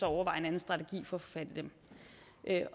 overveje en strategi for fat i dem